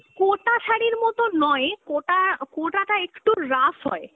কোটা শাড়ি মতো নয়, কোটা, কোটাটা একটু rough হয়।